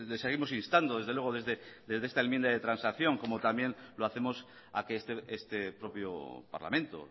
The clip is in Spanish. seguimos instando desde luego desde esta enmienda de transacción como también lo hacemos a que este propio parlamento